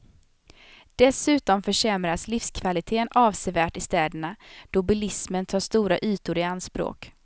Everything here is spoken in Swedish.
Dessutom försämras livskvaliteten avsevärt i städerna, då bilismen tar stora ytor i anspråk.